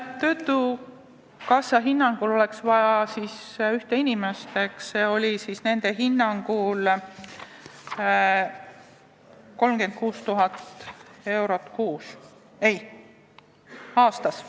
Töötukassa hinnangul oleks juurde vaja ühte inimest ja nende hinnangul ka 36 000 eurot aastas.